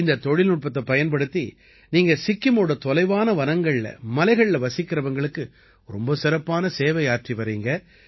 இந்தத் தொழில்நுட்பத்தைப் பயன்படுத்தி நீங்க சிக்கிமோட தொலைவான வனங்கள்ல மலைகள்ல வசிக்கறவங்களுக்கு ரொம்ப சிறப்பான சேவை ஆற்றி வர்றீங்க